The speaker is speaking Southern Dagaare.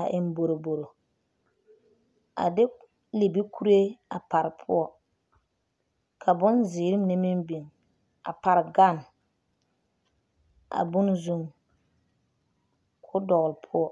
a eŋ boroboro a de libikuree a pare poɔ ka bonziiri mine meŋ biŋ a pare ɡane a bone zuŋ ka o dɔɡle poɔ